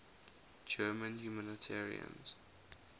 german humanitarians